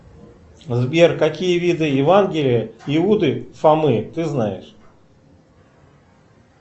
сбер какие виды евангелие иуды фомы ты знаешь